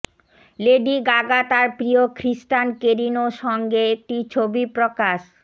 lady Gaga তার প্রিয় Christian Carino সঙ্গে একটি ছবি প্রকাশ